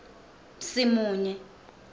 simunye